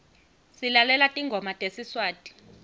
silalela tingoma tesiswati